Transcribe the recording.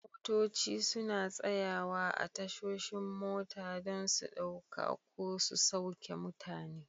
Motoci suna tsayawa a tashoshin mota don su ɗauka ko su sauke mutane.